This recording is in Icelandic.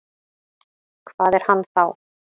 Hvað er hann þá?